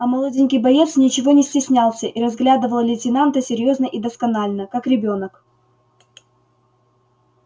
а молоденький боец ничего не стеснялся и разглядывал лейтенанта серьёзно и досконально как ребёнок